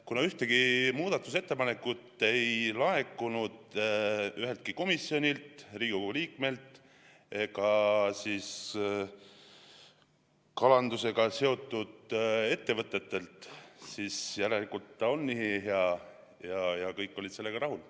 Kuna ühtegi muudatusettepanekut ei laekunud üheltki komisjonilt, Riigikogu liikmelt ega kalandusega seotud ettevõttelt, siis järelikult on see eelnõu nii hea ja kõik olid sellega rahul.